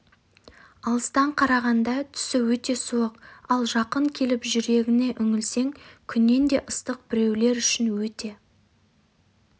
алыстан қарағанда түсі өте суық ал жақын келіп жүрегіне үңілсең күннен де ыстық біреулер үшін өте